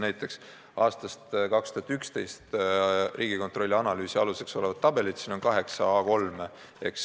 Näiteks võib tuua aastast 2011 Riigikontrolli analüüsi aluseks olevad tabelid, mida on kaheksal A3 lehel.